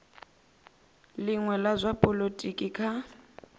linwe la zwa polotiki kha